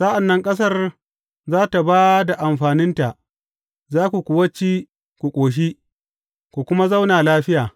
Sa’an nan ƙasar za tă ba da amfaninta, za ku kuwa ci ku ƙoshi, ku kuma zauna lafiya.